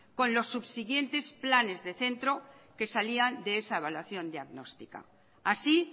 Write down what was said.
con los subsiguientes planes de centro que salían de esa evaluación diagnóstica así